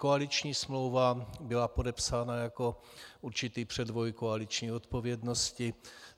Koaliční smlouva byla podepsána jako určitý předvoj koaliční odpovědnosti.